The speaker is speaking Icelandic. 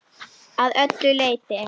Að öllu leyti.